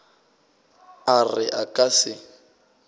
a re a ka se